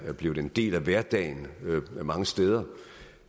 er blevet en del af hverdagen mange steder